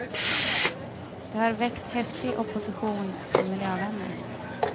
Det har väckt häftig opposition från miljövänner.